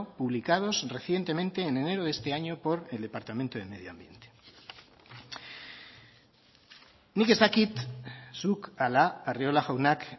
publicados recientemente en enero de este año por el departamento de medio ambiente nik ez dakit zuk ala arriola jaunak